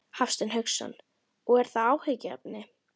Hafsteinn Hauksson: Og er það áhyggjuefni?